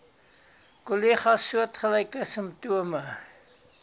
kollegas soortgelyke simptome